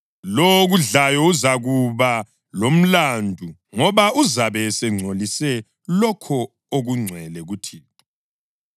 Lowo okudlayo uzakuba lomlandu, ngoba uzabe esengcolise lokho okungcwele kuThixo.